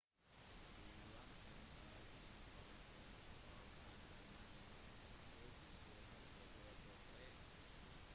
johnson er syv poeng bak og andremann med 2243